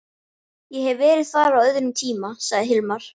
Ég hef verið þar á öðrum tíma, sagði Hilmar.